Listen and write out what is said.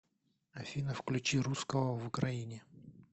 афина включи русского в украине